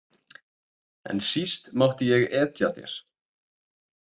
En síst mátti ég etja þér.